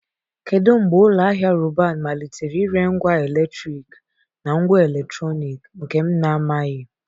Kedu mgbe ụlọ ahịa Robban malitere ire ngwa eletriki na ngwa eletrọnịkị nke m na-amaghị?